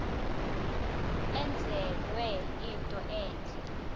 enzelwe into entle